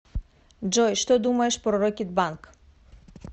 джой что думаешь про рокетбанк